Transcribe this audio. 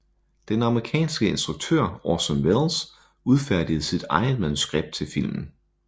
Den amerikanske instruktør Orson Welles udfærdigede sit eget manuskript til filmen